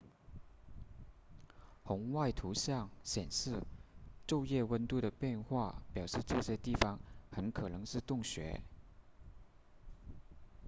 红外图像显示昼夜温度的变化表示这些地方很可能是洞穴